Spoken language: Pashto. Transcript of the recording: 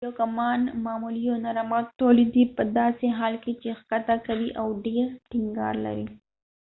یو کمان معمولا یو نرم غږ تولیدوي پداسې حال کې چې ښکته قوي او ډیر ټینګار لري